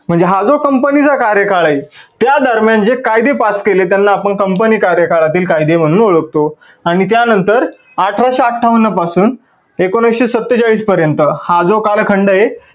म्हणजे हा जो company चा कार्यकाळ आहे त्या दरम्यान जे कायदे pass केले त्या कायद्यांना आपण company कार्यकाळातील कायदे म्हणून ओळखतो आणि त्या नंतर अठराशे आठावन्न पासून एकोनाविस्से सत्तेचाळीस पर्यंत हा जो कालखंड आहे